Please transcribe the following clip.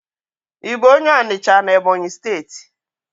I bu onye Onicha na Ebonyi steeti?